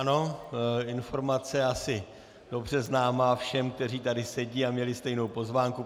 Ano, informace asi dobře známá všem, kteří tady sedí a měli stejnou pozvánku.